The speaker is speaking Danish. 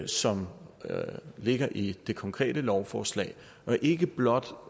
som ligger i det konkrete lovforslag og ikke blot